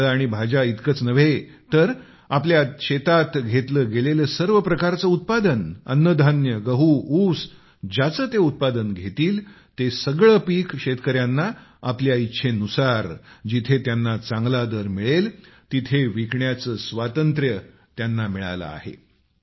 फळे आणि भाज्या इतकेच नाही तर आपल्या शेतात घेतले गेलेले सर्व प्रकारचे उत्पादन अन्नधान्य गहू ऊस ज्याचे ते उत्पादन घेतील ते सगळे पीक शेतकऱ्यांना आपल्या इच्छेनुसार जिथे त्यांना चांगला दर मिळेल तेथे विकण्याचे स्वातंत्र्य त्यांना मिळाले आहे